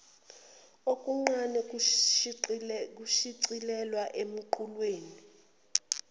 okuncane kushicilelwa emqulwini